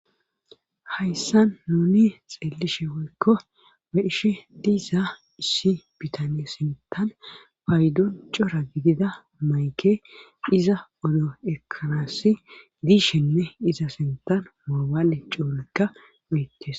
Hayssan nuni xeelishe woykko beish diiza issi bitaniye sintan paydon cora gidida mayke iza odo ekalasi diishenne iza sintan moobaale coonekka miittes.